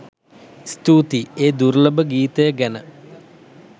ස්තූතියි ඒ දුර්ලභ ගීතය ගැන